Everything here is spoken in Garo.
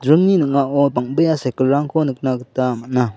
room -ni ning·ao bang·bea cycle -rangko nikna gita man·a.